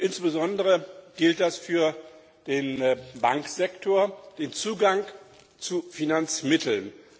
Insbesondere gilt das für den Bankensektor für den Zugang zu Finanzmitteln.